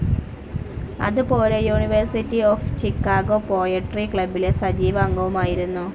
അതുപോലെ university of Chicago poetry ക്ലബ്ബിലെ സജീവ അംഗവുമായിരുന്നു.